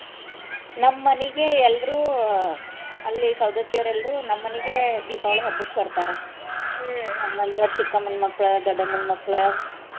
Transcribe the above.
ನಮ್ ಮನಿಗೆ ಎಲ್ರೂ ಅಲ್ಲಿ ಸೌದತ್ತಿಯರ್ ಎಲ್ರೂ ನಮ್ ಮನಿಗೆ ದೀಪಾವಳಿ ಹಬ್ಬಕ್ ಬರ್ತಾರ ನಮ್ ಮನಿಯೋರ್ ಚಿಕ್ಕಮ್ಮನ್ ಮಕ್ಳ ದೊಡ್ಡಮ್ಮನ್ ಮಕ್ಳ.